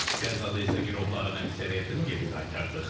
Qəzada isə girovların əksəriyyətini geri qaytardıq.